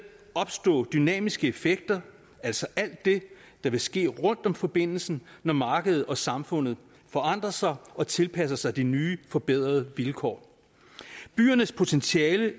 opstå dynamiske effekter altså alt det der vil ske rundt om forbindelsen når markedet og samfundet forandrer sig og tilpasser sig de nye forbedrede vilkår byernes potentiale